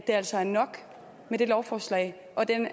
altså er nok med det lovforslag og den